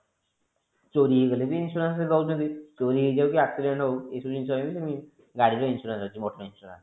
ଚୋରି ହେଇଗଲେ ବି insurance ଦୋଉଛନ୍ତି ଚୋରି ହେଇଯାଉ କି accident ହୋଉ ଏ ସବୁ ଜିନିଷ ଗାଡି ର insurance ଅଛି motor insurance